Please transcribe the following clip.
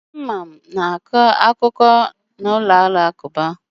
Ndị Imam na-akọ akụkọ okpukpe na ụlọ alakụba